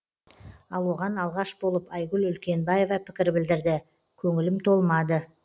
ал оған алғаш болып айгүл үлкенбаева пікір білдірді көңілім толмады